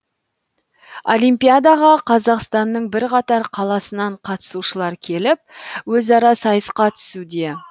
олимпиадаға қазақстанның бірқатар қаласынан қатысушылар келіп өзара сайысқа түсуде